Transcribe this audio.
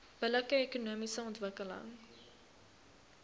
billike ekonomiese ontwikkeling